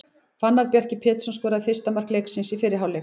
Fannar Bjarki Pétursson skoraði fyrsta mark leiksins í fyrri hálfleik.